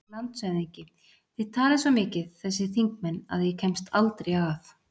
LANDSHÖFÐINGI: Þið talið svo mikið, þessir þingmenn, að ég kemst aldrei að.